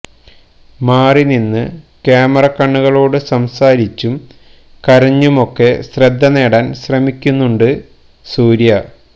മാറി നിന്ന് ക്യാമറക്കണ്ണുകളോട് സംസാരിച്ചും കരഞ്ഞുമൊക്കെ ശ്രദ്ധ നേടാൻ ശ്രമിക്കുന്നുണ്ട് സൂര്യ